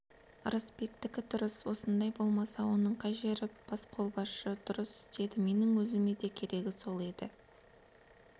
ырысбектікі дұрыс осындай болмаса оның қай жері басқолбасшы дұрыс істеді менің өзіме де керегі сол еді